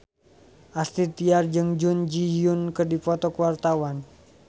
Astrid Tiar jeung Jun Ji Hyun keur dipoto ku wartawan